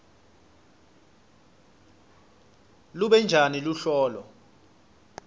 lube njani luhlolo